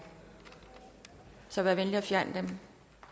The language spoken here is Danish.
så vær venlig at fjerne dem